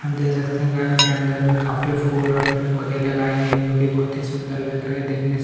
हम देख सकते है घर के अन्दर में काफ़ी फूल और पेड़-पोधे लगाए गए है जोकि बहोत ही सुन्दर लग रहे है देखने से--